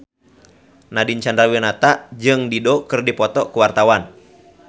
Nadine Chandrawinata jeung Dido keur dipoto ku wartawan